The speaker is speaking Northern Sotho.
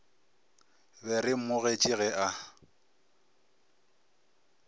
be re mmogetše ge a